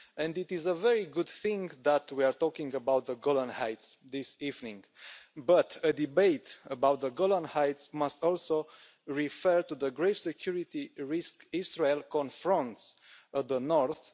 It is a very good thing that we are talking about the Golan Heights this evening, but a debate about the Golan Heights must also refer to the grave security risk Israel confronts in the north.